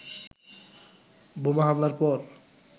বোমা হামলার পর